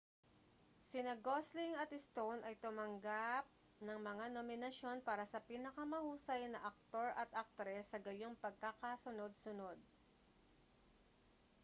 sina gosling at stone ay tumanggap ng mga nominasyon para sa pinakamahusay na aktor at aktres sa gayong pagkakasunod-sunod